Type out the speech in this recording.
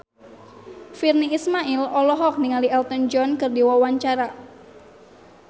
Virnie Ismail olohok ningali Elton John keur diwawancara